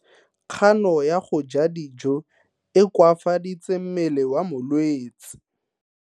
Kgano ya go ja dijo e koafaditse mmele wa molwetse.